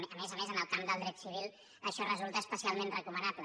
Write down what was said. a més a més en el camp del dret civil això resulta especialment recomanable